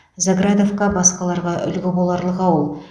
заградовка басқаларға үлгі боларлық ауыл